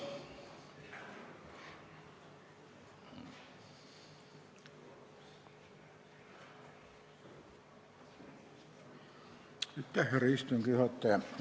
Aitäh, härra istungi juhataja!